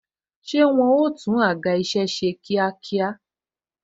Ṣé wọn ó tún àga isẹ ṣe kíákíá?